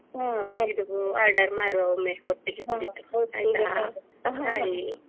Order ಮಾಡುವಾ ಒಮ್ಮೆ ಒಟ್ಟಿಗೆ ಕುಳಿತು ಆಯ್ತಾ bye .